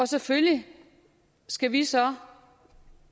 selvfølgelig skal vi så